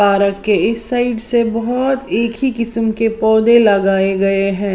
तारक के इस साइड से बहुत एक ही किस्म के पौधे लगाए गए हैं।